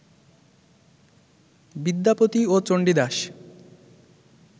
বিদ্যাপতি ও চন্ডীদাশ